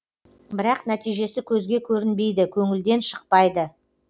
бірақ нәтижесі көзге көрінбейді көңілден шықпайды